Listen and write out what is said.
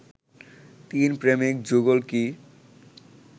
তিন প্রেমিক যুগল কি